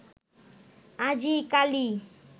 আজি কালি